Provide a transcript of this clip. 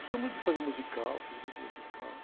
Gostava muito de fazer musical, fiz muito musical.